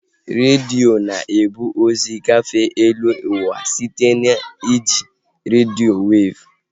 Redio na-ebu ozi gafee eluụwa site na iji redio weevụ